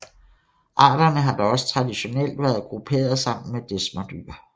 Arterne har da også traditionelt været grupperet sammen med desmerdyr